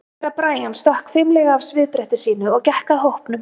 Herra Brian stökk fimlega af svifbretti sínu og gekk að hópnum.